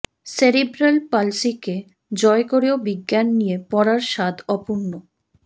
cerebral পলসিকে জয় করেও বিজ্ঞান নিয়ে পড়ার সাধ অপূর্ণ